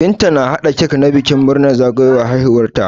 Binta ta hada cak na bikin murnar zagawowar haihuwar ta